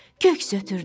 Köks ötürdü.